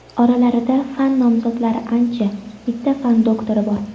Oralarida fan nomzodlari ancha, bitta fan doktori bor.